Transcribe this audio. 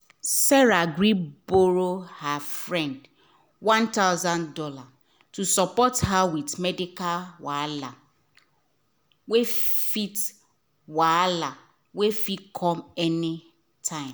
sarah gree borrow her friend one thousand dollars to support her with medical wahala wey fit wahala wey fit com anytime